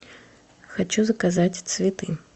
хочу заказать цветы